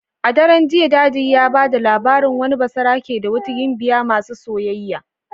A daren jiya daddy ya bada labarin wani basarake da wata gimbiya masu soyayya.